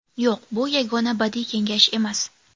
Yo‘q, bu yagona badiiy kengash emas.